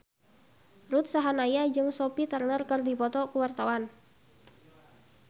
Ruth Sahanaya jeung Sophie Turner keur dipoto ku wartawan